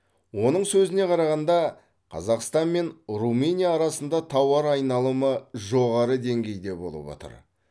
оның сөзіне қарағанда қазақстан мен румыния арасында тауар айналымы жоғары деңгейде болып отыр